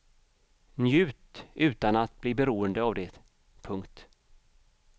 Njut utan att bli beroende av det. punkt